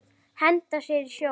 Henda sér í sjóinn?